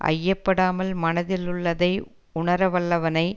ஐயப்படாமல் மனத்தில் உள்ளதை உணர வல்லவனை